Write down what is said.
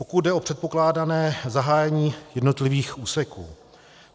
Pokud jde o předpokládané zahájení jednotlivých úseků.